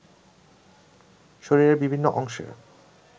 শরীরের বিভিন্ন অংশে